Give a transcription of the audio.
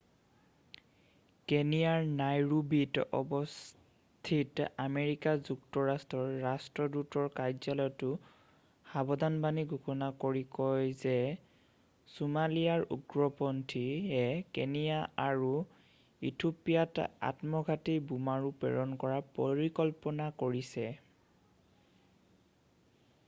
"কেনিয়াৰ নাইৰোবিত অৱস্থিত আমেৰিকা যুক্তৰাষ্ট্ৰৰ ৰাষ্ট্ৰদূতৰ কাৰ্যালয়টোৱে সাবধানবাণী ঘোষণা কৰি কয় যে "ছোমালিয়াৰ উগ্ৰপন্থী""য়ে কেনিয়া আৰু ইথিঅ'পিয়াত আত্মঘাতী বোমাৰু প্ৰেৰণ কৰাৰ পৰিকল্পনা কৰিছে। "